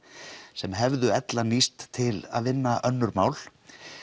sem hefðu ella nýst til að vinna önnur mál